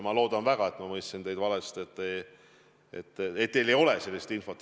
Ma loodan väga, et ma mõistsin teid valesti ja teil ei ole sellist infot.